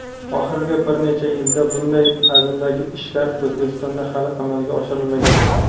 oxirgi bir necha yilda bunday hajmdagi ishlar O‘zbekistonda hali amalga oshirilmagan.